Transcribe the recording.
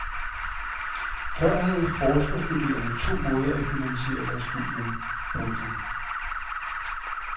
Før havde forskerstuderende to måder at finansiere deres studium. punktum